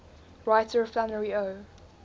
writer flannery o